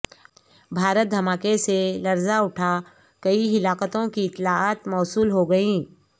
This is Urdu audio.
بھارت دھماکے سے لر ز اٹھا کئی ہلاکتوں کی اطلاعات موصول ہو گئیں